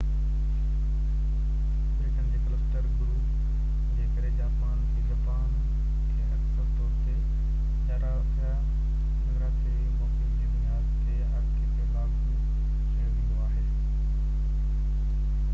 ٻيٽن جي ڪلسٽر/گروپ جي ڪري جاپان کي، جپان کي اڪثر طور تي، جغرافيائي موقف جي بنياد تي، آرڪيپيلاگو چيو ويندو آهي